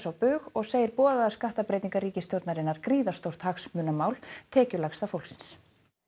á bug og segir boðaðar skattabreytingar ríkisstjórnarinnar gríðarstórt hagsmunamál tekjulægsta fólksins